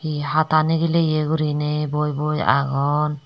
hi hata nigileye gurinei boi boi agon.